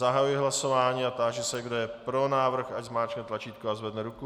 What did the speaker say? Zahajuji hlasování a táži se, kdo je pro návrh, ať zmáčkne tlačítko a zvedne ruku.